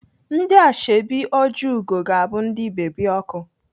Ndị Ashọbị Ojiugo ga-abụ ndị bebi ọkụ.